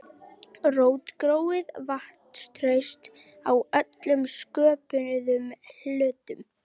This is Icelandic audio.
Rótgróið vantraust á öllum sköpuðum hlutum.